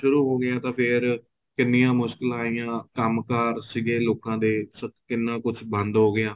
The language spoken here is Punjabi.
ਸ਼ੁਰੂ ਹੋ ਗਿਆ ਤਾਂ ਫ਼ੇਰ ਕਿੰਨੀਆ ਮੁਸ਼ਕਿਲਾ ਆਈਆਂ ਕੰਮਕਾਰ ਸੀਗੇ ਲੋਕਾ ਦੇ ਕਿੰਨਾ ਕੁੱਝ ਬੰਦ ਹੋ ਗਿਆ